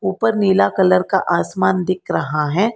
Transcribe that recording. ऊपर नीला कलर का आसमान दिख रहा है।